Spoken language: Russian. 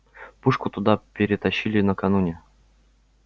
пушку туда перетащили накануне